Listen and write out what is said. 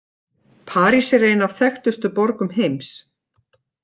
París er ein af þekktustu borgum heims.